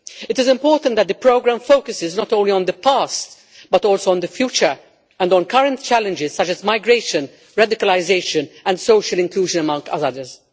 It is important that the programme focuses not only on the past, but also on the future and on current challenges such as migration, radicalisation and social inclusion, among others.